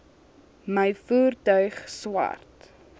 my voertuig swart